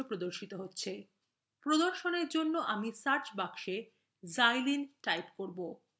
প্রদর্শনfor জন্য আমি search box xylene type করবো